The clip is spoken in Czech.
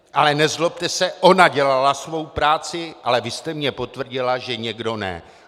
Ale nezlobte se, ona dělala svou práci, ale vy jste mně potvrdila, že někdo ne.